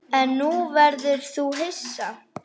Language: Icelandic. En nú verður þú hissa!